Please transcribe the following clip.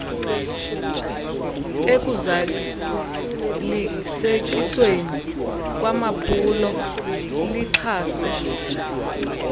ekuzalisekisweni kwamaphulo lixhase